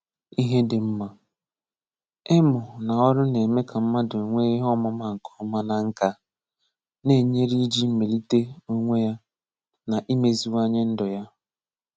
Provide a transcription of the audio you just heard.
Ihè Dị́ Mmà: Ị̀mụ̀ nà ọrụ̀ na-emè kà mmadụ̀ nweè ihè ọmụ̀mà nkè ọmà nà nkà, na-enyerè ijì melitè onwè yà nà imeziwà̀nyè ndù yà.